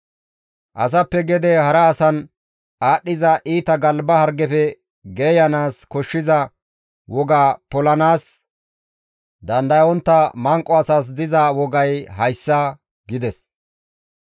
Asappe gede hara asan aadhdhiza iita galba hargefe geeyanaas koshshiza woga polanaas dandayontta manqo asas diza wogay hayssa» gides.